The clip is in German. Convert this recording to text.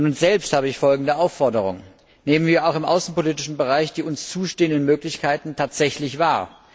An uns selbst habe ich folgende Aufforderung Nehmen wir auch im außenpolitischen Bereich die uns zustehenden Möglichkeiten tatsächlich wahr!